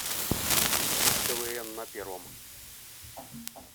квн на первом